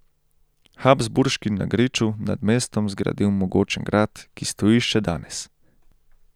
Habsburški na griču nad mestom zgradil mogočen grad, ki stoji še danes.